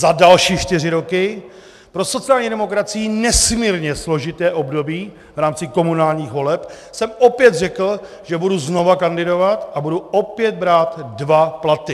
Za další čtyři roky, pro sociální demokracii nesmírně složité období v rámci komunálních voleb, jsem opět řekl, že budu znovu kandidovat a budu opět brát dva platy.